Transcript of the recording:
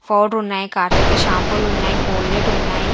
Powder ఉన్నాయి కార్తిక షాంపూలు ఉన్నాయి కోల్గేట్ ఉన్నాయి.